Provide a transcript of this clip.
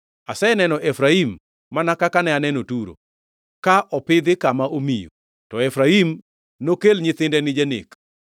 Aseneno Efraim, mana kaka ne aneno Turo, ka opidhi kama omiyo, to Efraim nokel nyithinde ni janek.”